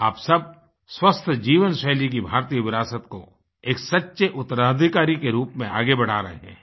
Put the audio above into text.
आप सब स्वस्थ जीवनशैली की भारतीय विरासत को एक सच्चे उत्तराधिकारी के रूप में आगे बढ़ा रहे हैं